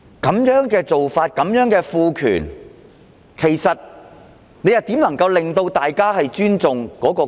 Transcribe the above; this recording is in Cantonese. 這種做法和賦權怎能令大家尊重國歌？